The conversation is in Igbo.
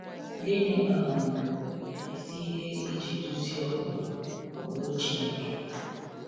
Gịnị um bụ isi ihe iji duzie ụkpụrụ ụkpụrụ Chineke?